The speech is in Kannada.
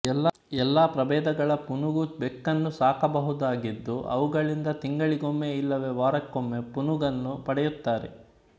ಎಲ್ಲ ಪ್ರಭೇದಗಳ ಪುನುಗು ಬೆಕ್ಕನ್ನು ಸಾಕಬಹುದಾಗಿದ್ದು ಅವುಗಳಿಂದ ತಿಂಗಳಿಗೊಮ್ಮೆ ಇಲ್ಲವೇ ವಾರಕ್ಕೊಮ್ಮೆ ಪುನುಗನ್ನು ಪಡೆಯುತ್ತಾರೆ